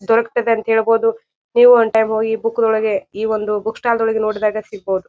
ದೊರಕತ್ತದೆ ಅಂತ ಹೇಳಬಹುದು ನೀವ್ ಒನ್ ಟೈಮ್ ಹೋಗಿ ಬುಕ್ ನೊಳಗೆ ಈ ಒಂದು ಬುಕ್ ಸ್ಟಾಲ್ ದೊಳಗೆ ನೋಡಿದಾಗ ಸಿಗಬಹುದು.